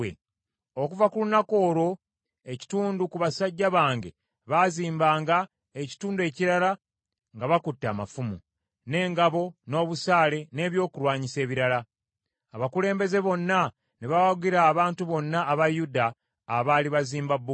Okuva ku lunaku olwo, ekitundu ku basajja bange bazimbanga n’ekitundu ekirala nga bakutte amafumu, n’engabo, n’obusaale n’ebyokulwanyisa ebirala. Abakulembeze bonna ne bawagira abantu bonna aba Yuda abaali bazimba bbugwe.